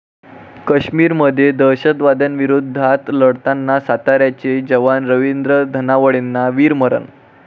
काश्मीरमध्ये दहशतवाद्यांविरोधात लढताना साताऱ्याचे जवान रवींद्र धनावडेंना वीरमरण